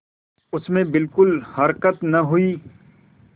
उसमें बिलकुल हरकत न हुई